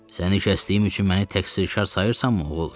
Səni kəsdiyim üçün məni təqsirkar sayırsanmı, oğul?